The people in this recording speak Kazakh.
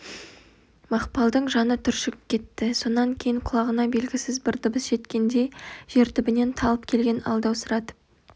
мақпалдың жаны түршігіп кетті сонан кейін құлағына белгісіз бір дыбыс жеткендей жер түбінен талып келген алдаусыратып